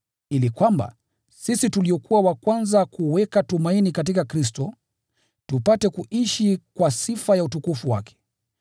ili kwamba, sisi tuliokuwa wa kwanza kuweka tumaini katika Kristo, tupate kuishi kwa sifa ya utukufu wake.